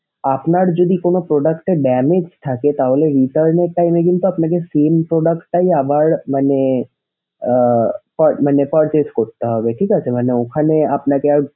আপনার যদি কোনো product এ damage থাকে তাহলে return এর time এ কিন্তু আপনাকে same product টাই আবার মানে আহ pur~ মানে purchase করতে হবে ঠিক আছে মানে ওখানে আপনাকে আর,